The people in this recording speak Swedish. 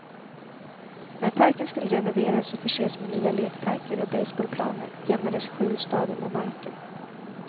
När parken skulle renoveras och förses med nya lekparker och baseballplaner jämnades skjulstaden med marken.